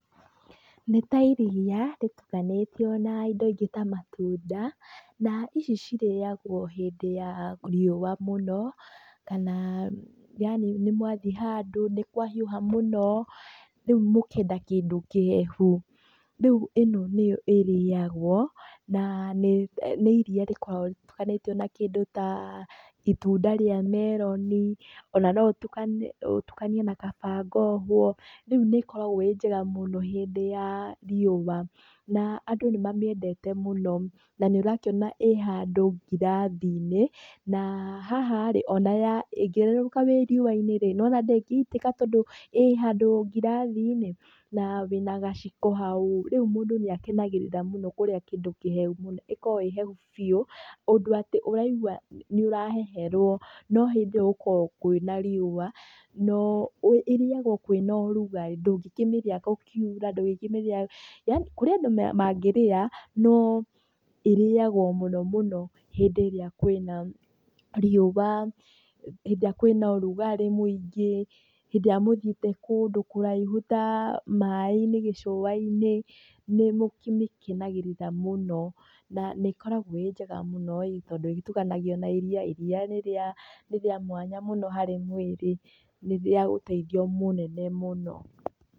Nĩ ta iria rĩtukanĩtio na indo ingĩ ta matunda. Na ici cirĩagũo hindĩ ya riũa mũno kana yaani nĩ mwathiĩ handũ nĩ kwahiũha mũno rĩu mũkenda kĩndũ kĩhehu. Rĩu ĩno nĩyo ĩrĩagũo na nĩ iria rĩkoragũo rĩtukanĩtio na kĩndũ ta itunda rĩa meloni, ona no ũtukanie na kaba ngohũo, rĩu nĩ ĩkoragũo ĩĩ njega mũno hĩndĩ ya riũa na andũ nĩ mamĩendete mũno. Na nĩ ũrakĩona ĩĩ handũ ngirathi-inĩ na haha rĩ ona ĩngĩerũrũka ĩĩ riũa-inĩ nĩwona ndĩngĩitĩka tondũ nĩ ũrona ĩĩ ngirathi-inĩ. Na wĩna gaciko hau, rĩu mũndũ nĩ akenagĩrĩra mũno kũrĩa kĩndũ kĩhehu mũno, ĩkoragũo ĩĩ hehu biũ ũndũ atĩ ũraigua nĩ ũraheherũo no hĩndĩ ĩyo gũkoragũo kwĩna riũa. No ĩrĩagũo kwĩna ũrugarĩ ndũngĩkĩmĩrĩa gũkiura ndũngĩkĩmĩrĩa yaani kũrĩa andũ mangĩrĩa no ĩrĩagũo mũno mũno hĩndĩ ĩrĩa kwĩna riũa, hĩndĩ ĩrĩa kwĩna ũrugarĩ mũingĩ, hĩndĩ ĩrĩa mũthiĩte kũndũ kũraihu ta maaĩ-inĩ gĩcũa-inĩ, nĩmũkĩmĩkenagĩrĩra mũno. Na nĩ ĩkoragũo ĩĩ njega mũno ĩĩ tondũ ĩgĩtukanagio na iria, iria nĩ rĩa mwanya mũno harĩ mwĩrĩ, nĩ rĩa ũteithio mũnene mũno.